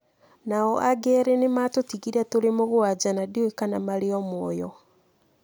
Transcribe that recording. Nao angĩ erĩ nĩ maatũtigire tũrĩ mũgwanja na ndiũĩ kana marĩ o muoyo.